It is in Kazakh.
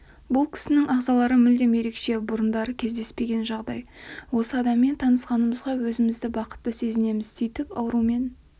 бұл кісінің ағзалары мүлдем ерекше бұрындары кездеспеген жағдай осы адаммен танысқанымызға өзімізді бақытты сезінеміз сөйтіп аурумен